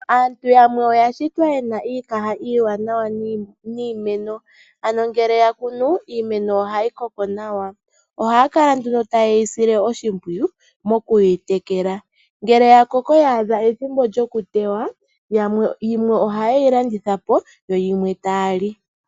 Aantu yamwe oya shitwa yena iikaha iiwanawa niimeno, ano ngele ya kunu iimeno ohayi koko nawa. Ohaya kala nduno taye yi sile oshimpwiyu mokuyitekela. Ngele ya koko ya a dha ethimbo lyokutewa yimwe ohaye yi landitha po, yo yimwe taya li.